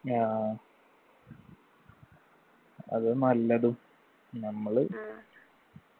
ആ അത് നല്ലതും നമ്മള്